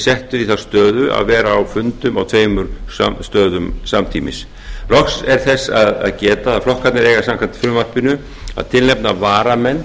settur í þá stöðu að vera á fundum á tveimur stöðum samtímis loks er þess að geta að flokkarnir eiga samkvæmt frumvarpinu að tilnefna varamenn